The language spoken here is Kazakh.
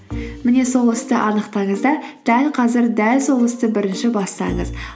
міне сол істі анықтаңыз да дәл қазір дәл сол істі бірінші бастаңыз